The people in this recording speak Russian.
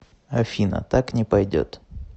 афина так не пойдет